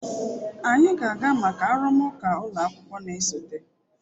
anyị ga-aga maka arụmụka ụlọ akwụkwọ na-esote.